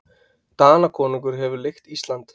Danakonungur hefur leigt Ísland.